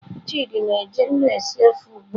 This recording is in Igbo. Chidi na-eji nnu esi ofe ugbua.